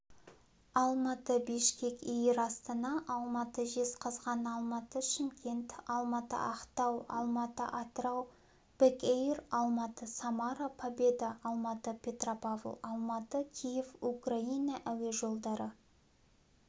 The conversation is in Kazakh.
алматы-бишкек эйр астана алматы-жезқазған алматы-шымкент алматы-ақтау алматы-атырау бекэйр алматы-самара победа алматы-петропавл алматы-киев украина әуе жолдары